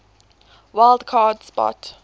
wild card spot